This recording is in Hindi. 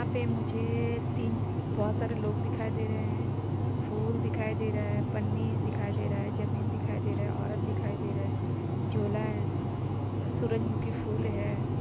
यहाँ पे मुझे तीन बहोत सारे लोग दिखाई दे रहे है फूल दिखाई दे रहा है पन्नी दिखाई दे रहा है जमीन दिखाई दे रहा है औरत दिखाई दे रहा है झोला है सूरजमुखी फूल है।